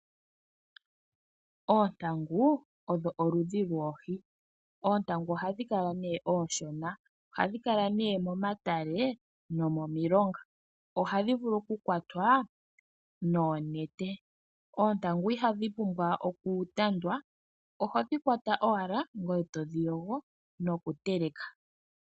Oontangu odho oludhi lwoohi. Oontangu ohadhi kala nee oonshona. Ohadhi kala nee momatale nomomilonga. Ohadhi vulu okukwatwa noonete. Oontangu ihadhi pumbwa okutandwa oho dhi kwata owla ngoye to dhi yogo nokuteleka.